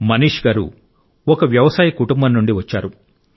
మనీష్ గారు ఒక వ్యవసాయ కుటుంబం నుండి వచ్చారు